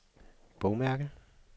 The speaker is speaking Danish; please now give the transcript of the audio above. bogmærke